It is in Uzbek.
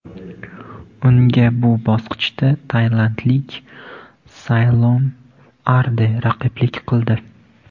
Unga bu bosqichda tailandlik Saylom Arde raqiblik qildi.